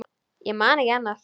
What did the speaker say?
Ég man ekki annað.